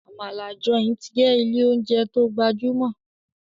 Amala Joint jé ilé oúnjẹ tó gbajumo.